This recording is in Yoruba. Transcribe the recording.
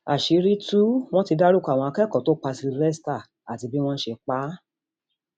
àṣírí tú wọn ti dárúkọ àwọn akẹkọọ tó pa sylvester àti bí wọn ṣe pa á